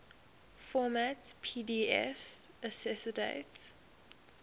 format pdf accessdate